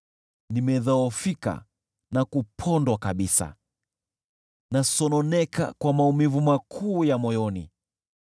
Nimedhoofika na kupondwa kabisa, nasononeka kwa maumivu makuu ya moyoni.